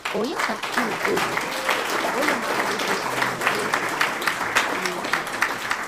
Ònye ka ị na - ewere ka onye maara ihe n’ezie? n’ezie?